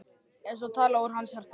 Eins og talað úr hans hjarta.